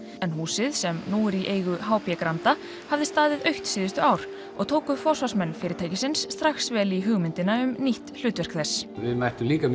en húsið sem nú er í eigu h b Granda hafði staðið autt síðustu ár og tóku forsvarsmenn fyrirtækisins strax vel í hugmyndina um nýtt hlutverk þess við mættum líka